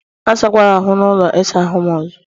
Asakwala ahụ n' ụlọ ịsa ahụ m ọzọ!